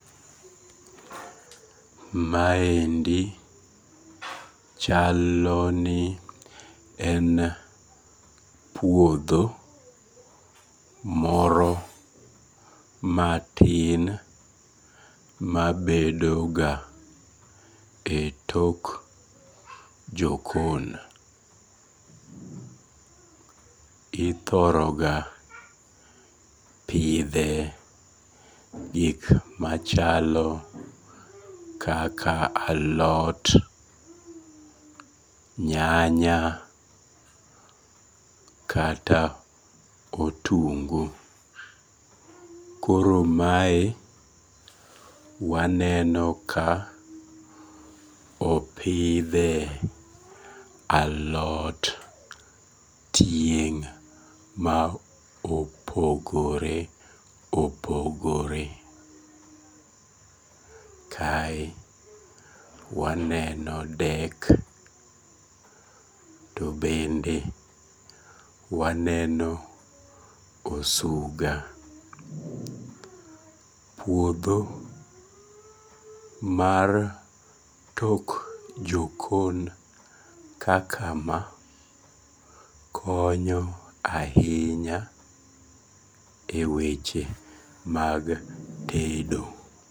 Maendi chalo ni en puodho moro matin mabedoga e tok jokon ithoroga pithe gik machalo kaka alot, nyanya kata otungu, koro mae waneno ka opithe alot tieng' ma opogore opogore, kae waneno dek bende waneno osuga, puodho mar tok jokon kaka ma konyo ahinya e weche mag tedo